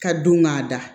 Ka don k'a da